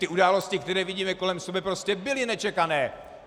Ty události, které vidíme kolem sebe, prostě byly nečekané.